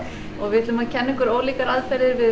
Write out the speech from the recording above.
við ætlum að kenna ykkur ólíkar aðferðir við